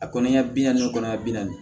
A kɔni ya bi naani kɔnɔna bi naani